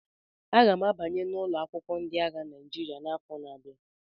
Aga m abanye n'ụlọ akwụkwọ ndị agha Naịjirịa n'afọ na-abia